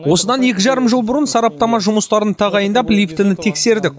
осыдан екі жарым жыл бұрын сараптама жұмыстарын тағайындап лифтіні тексердік